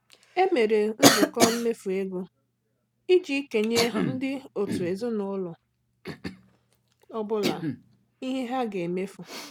E mere nzukọ mmefu ego iji kenye ndị otu ezinaụlọ ọ bụla ihe ha ga-emefu.